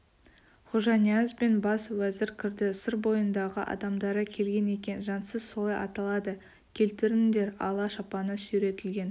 хожанияз бен бас уәзір кірді сыр бойындағы адамдары келген екен жансыз солай аталады келтіріңдер ала шапаны сүйретілген